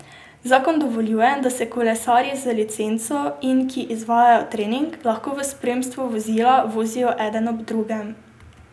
Zakon dovoljuje, da se kolesarji z licenco in ki izvajajo trening, lahko v spremstvu vozila vozijo eden ob drugem.